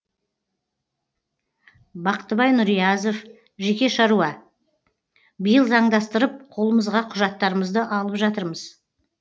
бақтыбай нұриязов жеке шаруа биыл заңдастырып қолымызға құжаттарымызды алып жатырмыз